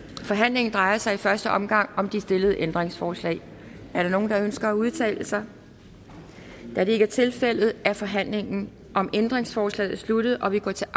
forhandlingen drejer sig i første omgang om de stillede ændringsforslag er der nogen der ønsker at udtale sig da det ikke er tilfældet er forhandlingen om ændringsforslagene sluttet og vi går til